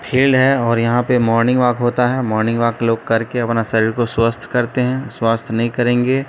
हिल है और यहां पे मॉर्निंग वॉक होता है मॉर्निंग वॉक लोग करके अपना शरीर को स्वस्थ करते हैं स्वस्थ नहीं करेंगे।